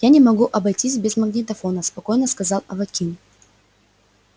я не могу обойтись без магнитофона спокойно сказал аваким